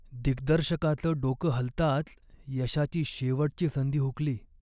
दिग्दर्शकाचं डोकं हलताच यशाची शेवटची संधी हुकली.